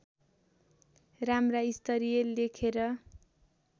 राम्रा स्तरीय लेखेर